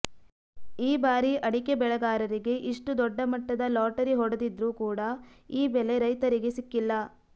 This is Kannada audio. ಈ ಬಾರಿ ಅಡಿಕೆ ಬೆಳೆಗಾರರಿಗೆ ಇಷ್ಟು ದೊಡ್ಡ ಮಟ್ಟದ ಲಾಟರಿ ಹೊಡೆದಿದ್ರು ಕೂಡ ಈ ಬೆಲೆ ರೈತರಿಗೆ ಸಿಕ್ಕಿಲ್ಲ